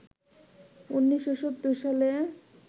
১৯৭০ সালে